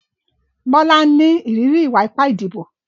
Bola ń ní ìrírí ìwà ipá ìdìbò.